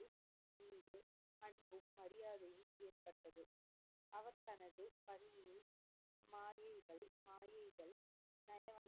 மாயைகள் மாயைகள் நயவஜ்,